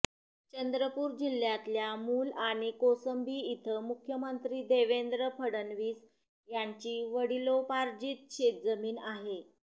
चंद्रपूर जिल्ह्यातल्या मूल आणि कोसंबी इथं मुख्यमंत्री देवेंद्र फडणवीस यांची वडिलोपार्जीत शेतजमीन आहे